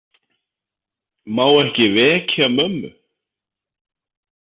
Má ekki vekja mömmu.